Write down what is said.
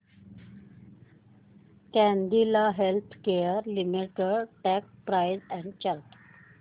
Cadila healthcare limited stock price and chart